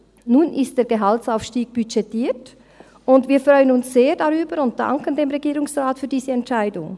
Nun ist der Gehaltsaufstieg budgetiert, und wir freuen uns sehr darüber und danken dem Regierungsrat für diese Entscheidung.